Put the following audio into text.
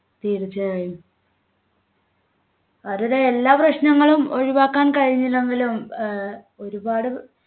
തീർച്ചയായും അവരുടെ എല്ലാ പ്രശ്നങ്ങളും ഒഴിവാക്കാൻ കഴിഞ്ഞില്ലെങ്കിലും ഏർ ഒരുപാട്